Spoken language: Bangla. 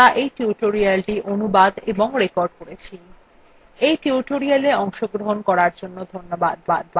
এই টিউটোরিয়ালএ অংশগ্রহন করার জন্য ধন্যবাদ